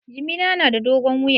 Jimina na da dogon wuya